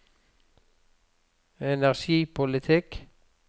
energipolitikk